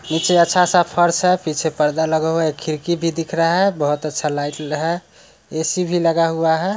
नीचे अच्छा सा फर्श है पीछे पर्दा लगा हुआ है खिड़की भी दिख रहा बहुत अच्छा लाइट है ऐ_सी भी लगा हुआ है।